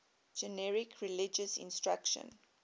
generic religious instruction